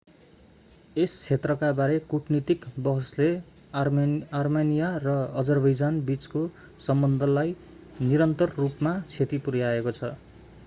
यस क्षेत्रका बारे कूटनीतिक बहसले आर्मेनिया र अजरबैजान बीचको सम्बन्धलाई निरन्तर रूपमा क्षति पुर्याएको छ